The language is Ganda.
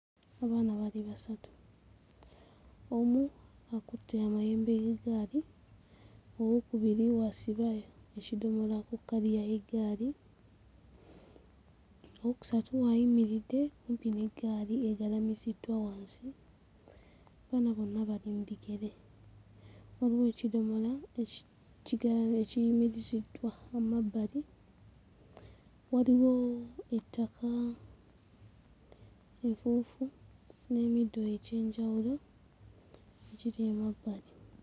Abaana bali basatu, omu akutte amayembe g'eggaali, owookubiri w'asiba ekidomola ku kkaliya y'eggaali, owookusatu ayimiridde kumpi n'eggaali egalamiziddwa wansi, abaana bonna bali mu bigere, waliwo ekidomola ekikigala ekiyimiriziddwa mu mabbali, waliwo ettaka, enfuufu n'emiddo egy'enjawulo egiri emabbali.